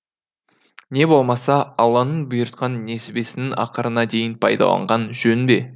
не болмаса алланың бұйыртқан несібесінен ақырына дейін пайдаланған жөн бе